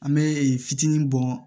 An bɛ fitinin bɔ